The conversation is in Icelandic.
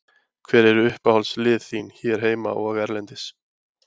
Hver eru uppáhaldslið þín hér heima og erlendis?